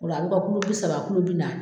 O la a bɛ kɛ kulo bi saba kulo bi naani.